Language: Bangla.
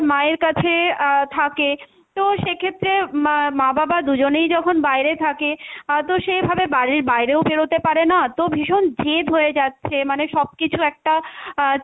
মায়ের কাছে আহ থাকে তো সেক্ষেত্রে মা মা বাবা দুজনেই যখন বাইরে থাকে আহ তো সেভাবে বাড়ির বাইরেও বেরোতে পারেনা, তো ভীষণ জেদ হয়ে যাচ্ছে মানে সবকিছু একটা আহ